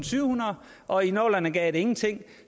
syv hundrede og i nullerne gav det ingenting